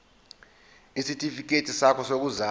isitifikedi sakho sokuzalwa